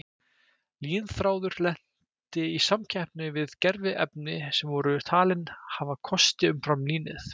Línþráður lenti í samkeppni við gerviefni sem voru talin hafa kosti umfram línið.